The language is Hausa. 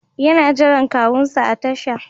Yana jiran kawunsa a tasha.